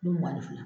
Don mugan ni fila